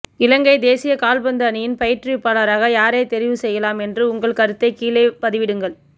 இலங்கை தேசிய கால்பந்து அணியின் பயிற்றுவிப்பாளராக யாரை தெரிவு செய்யலாம் என்ற உங்கள் கருத்தை கீழே பதிவிடுங்கள்